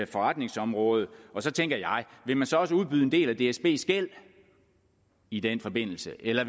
forretningsområde og så tænker jeg vil man så også udbyde en del af dsbs gæld i den forbindelse eller